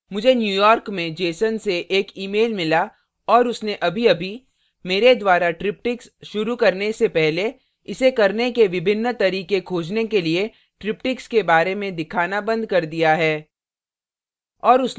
मुझे न्यूयॉर्क में jeson से एक imail mail और उसने अभीअभी मेरे द्वारा triptychs शुरू करने से पहले इसे करने के विभिन्न तरीके खोजने के लिए triptychs के बारे में दिखाना बंद कर दिया है